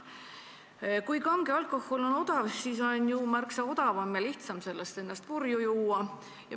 Kui kange alkohol on odav, siis on ju märksa odavam ja lihtsam sellest ennast purju juua.